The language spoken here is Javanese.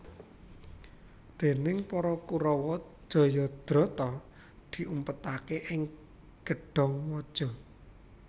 Déning para Kurawa Jayadrata diumpetaké ing gedhong waja